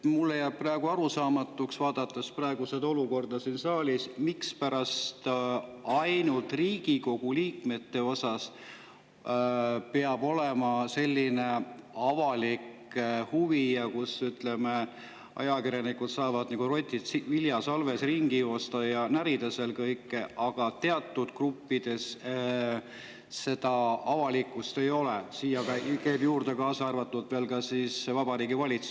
Vaadates seda olukorda siin saalis, jääb mulle arusaamatuks, mispärast ainult Riigikogu liikmete vastu peab olema selline avalik huvi ja miks saavad ajakirjanikud siin nagu rotid viljasalves ringi joosta ja kõike närida, aga teatud gruppide vastu, sealhulgas Vabariigi Valitsuse ministrid, sellist avalikku ei ole.